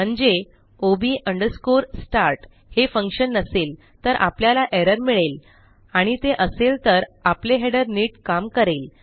म्हणजे ob underscore start हे function नसेल तर आपल्याला एरर मिळेल आणि ते असेल तर आपले हेडर नीट काम करेल